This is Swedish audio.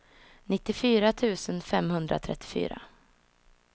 nittiofyra tusen femhundratrettiofyra